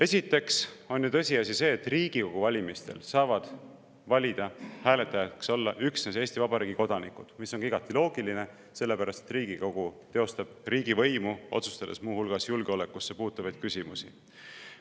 Esiteks on tõsiasi see, et Riigikogu valimistel saavad valida, hääletajaks olla üksnes Eesti Vabariigi kodanikud, mis on ka igati loogiline, sest Riigikogu teostab riigivõimu, otsustades muu hulgas julgeolekusse puutuvaid küsimusi.